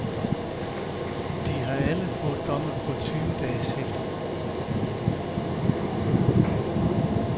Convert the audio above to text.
De har alle fået domme på tyve dages hæfte.